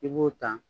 I b'o ta